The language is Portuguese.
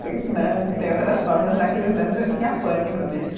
Tem né, tem outras formas, naqueles anos eu tinha pânico disso.